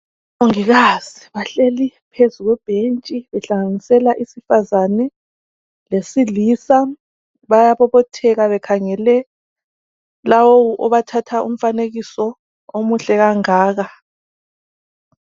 Omongikazi bahleli phezu kwebhentshi behlanganisela isifazane lesilisa bayabobothela bekhangele lowo obathatha umfanekiso omuhle kangaka